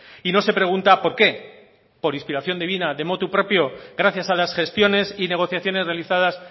y no se pregunta por qué por inspiración divina de motu proprio gracias a las gestiones y negociaciones realizadas